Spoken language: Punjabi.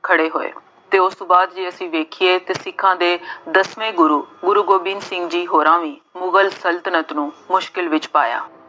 ਖੜ੍ਹੇ ਹੋਏ ਅਤੇ ਉਸ ਤੋਂ ਬਾਅਦ ਜੇ ਅਸੀਂ ਦੇਖੀਏ ਅਤੇ ਸਿੱਖਾਂ ਦੇ ਦਸਵੇਂ ਗੁਰੂ ਗੋਬਿੰਦ ਸਿੰਘ ਜੀ ਹੋਰਾਂ ਵੀ ਮੁਗਲ ਸਲਤਨਤ ਨੂੰ ਮੁਸ਼ਕਿਲ ਵਿੱਚ ਪਾਇਆ।